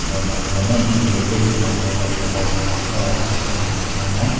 aro manuhan eman beshe dekhe ase ekjun manu white kabra lakai na ase aro half pant lakai na.